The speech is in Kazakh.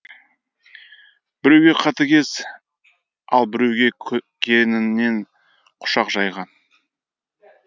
біреуге қатыгез ал біреуге кеңінен құшақ жайған